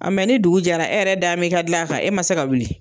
mɛ ni dugu jɛra e yɛrɛ da m'e ka dilan kan e ma se ka wili